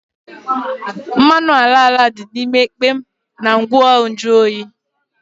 Mmanụ ala ala dị n'ime rọba na ngwa nju oyi